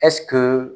ɛsike